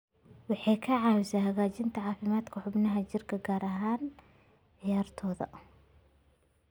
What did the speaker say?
Waxay ka caawisaa hagaajinta caafimaadka xubnaha jirka, gaar ahaan ciyaartoyda.